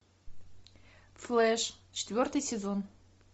флэш четвертый сезон